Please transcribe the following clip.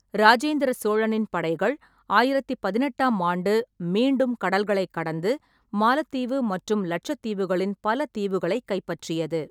ராஜேந்திர சோழனின் படைகள் ஆயிரத்து பதினெட்டாம் ஆண்டு மீண்டும் கடல்களைக் கடந்து, மாலத்தீவு மற்றும் லட்சத்தீவுகளின் பல தீவுகளைக் கைப்பற்றியது.